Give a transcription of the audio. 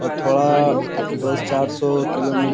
और थोड़ा दो चार सौ किलो मी --